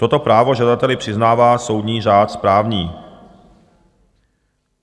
Toto právo žadateli přiznává soudní řád správní.